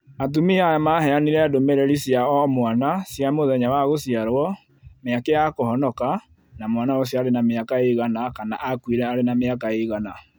Atumia aya maheanire ndũmĩrĩri cia o-mwana cia mĩthenya ya gũciarwo, mĩeke ya kũhonoka, na mwana ũcio arĩ na mĩaka igana kana akuire arĩ na mĩaka iigana